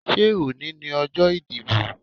Ṣé òní ni ọjọ́ ìdìbò?